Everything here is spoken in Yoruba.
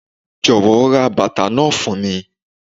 Jọ̀wọ́ ra bàtà náà fún mi.